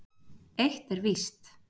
Eitt er víst.